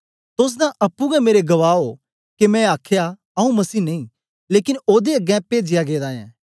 तोस तां अप्पुं गै मेरे गवाह ओ के मैं आखया आऊँ मसीह नेई लेकन ओदे अगें पेजया गेदा ऐं